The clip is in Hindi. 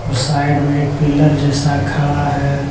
और साइड में एक पिलर जैसा खड़ा है।